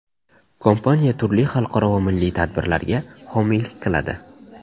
Kompaniya turli xalqaro va milliy tadbirlarga homiylik qiladi.